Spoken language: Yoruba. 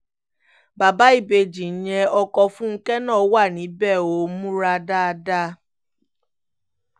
bàbá ìbejì ìyẹn ọkọ̀ fúnkẹ́ náà wà níbẹ̀ ò múra dáadáa